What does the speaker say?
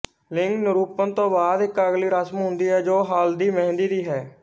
ਲਿੰਗ ਨਿਰੂਪਣ ਤੋਂ ਬਾਅਦ ਇੱਕ ਅਗਲੀ ਰਸਮ ਹੁੰਦੀ ਹੈ ਜੋ ਹਲ਼ਦੀਮਹਿੰਦੀ ਦੀ ਹੈ